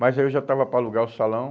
Mas aí eu já estava para alugar o salão.